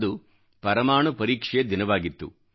ಅದು ಪರಮಾಣು ಪರೀಕ್ಷೆಯ ದಿನವಾಗಿತ್ತು